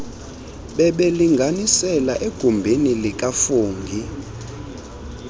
bebelinganisela egumbini likafungie